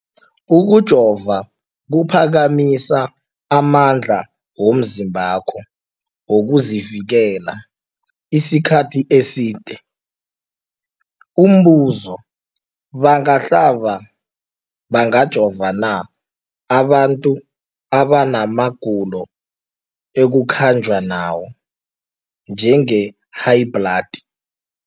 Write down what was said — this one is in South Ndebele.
Ukujova kuphakamisa amandla womzimbakho wokuzivikela isikhathi eside. Umbuzo, bangahlaba, bangajova na abantu abana magulo ekukhanjwa nawo, njengehayibhladi?